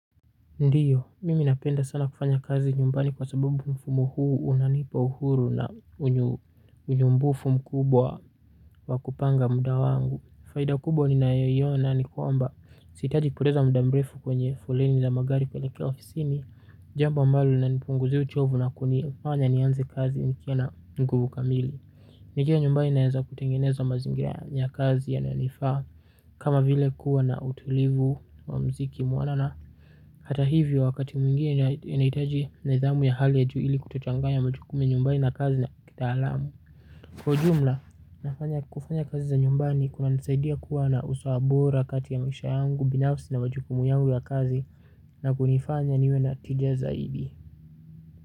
Ndiyo, mimi napenda sana kufanya kazi nyumbani kwa sababu mfumu huu unanipa uhuru na unyumbufu mkubwa wakupanga muda wangu. Faida kubwa ninayo iona ni kwamba siitaji kupoteza muda mrefu kwenye foleni la magari kuelekea ofisini. Jamba ambalo linanipunguzia uchovu na kunifanya nianze kazi nikiwa na nguvu kamili. Ni njia ambayo inaeza kutengeneza mazingira ya kazi yananifaa kama vile kuwa na utulivu wa mziki mwanana na hata hivyo, wakati mwingine inahitaji nidhamu ya hali ya juu ili kutochanganya majukumu ya nyumbani na kazi na kitaalamu. Kwa ujumla, kufanya kazi za nyumbani kunanisaidia kuwa na usawa bora kati ya maisha yangu binafsi na majukumu yangu ya kazi na kunifanya niwe na tija zaidi.